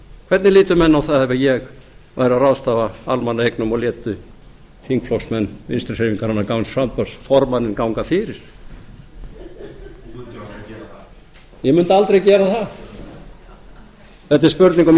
hvernig litu menn á það ef ég væri að ráðstafa almannaeignum og léti þingflokksmenn vinstri hreyfingarinnar græns framboðs formanninn ganga fyrir þú mundir aldrei gera það ég mundi aldrei gera það þetta er spurning um